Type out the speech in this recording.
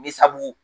Ni sabu